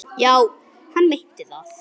Já, hann meinti það.